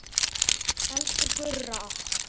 Elsku Gurra okkar.